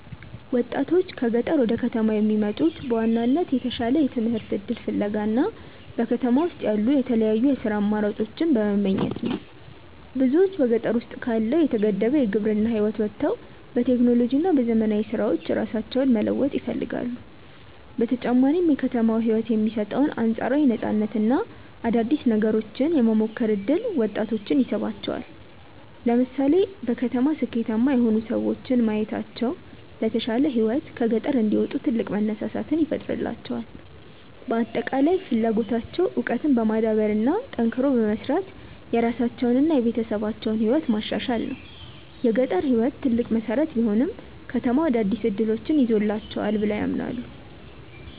ወጣቶች ከገጠር ወደ ከተማ የሚመጡት በዋናነት የተሻለ የትምህርት እድል ፍለጋ እና በከተማ ውስጥ ያሉ የተለያዩ የሥራ አማራጮችን በመመኘት ነው። ብዙዎች በገጠር ውስጥ ካለው የተገደበ የግብርና ህይወት ወጥተው በቴክኖሎጂ እና በዘመናዊ ስራዎች ራሳቸውን መለወጥ ይፈልጋሉ። በተጨማሪም የከተማው ህይወት የሚሰጠው አንፃራዊ ነፃነት እና አዳዲስ ነገሮችን የመሞከር እድል ወጣቶችን ይስባቸዋል። ለምሳሌ በከተማ ስኬታማ የሆኑ ሰዎችን ማየታቸው ለተሻለ ህይወት ከገጠር እንዲወጡ ትልቅ መነሳሳት ይፈጥርላቸዋል። በአጠቃላይ ፍላጎታቸው እውቀትን በማዳበር እና ጠንክሮ በመስራት የራሳቸውንና የቤተሰባቸውን ህይወት ማሻሻል ነው። የገጠር ህይወት ትልቅ መሰረት ቢሆንም፣ ከተማው አዳዲስ እድሎችን ይዞላቸዋል ብለው ያምናሉ።